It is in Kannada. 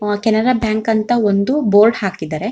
ಕೆನರಾ ಬ್ಯಾಂಕ್ ಅಂತ ಒಂದು ಬೋರ್ಡ್ ಹಾಕಿದರೆ.